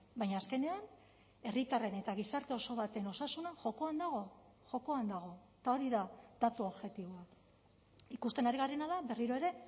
baina azkenean herritarren eta gizarte oso baten osasuna jokoan dago jokoan dago eta hori da datu objektiboa ikusten ari garena da berriro ere